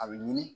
A bɛ ɲini